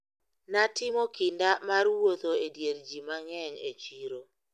Natimo kinda mar wuotho e dier ji mang`eny e chiro.